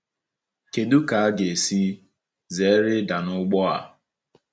Kedu ka anyị ga-esi zere ịda n’ụgbọ a?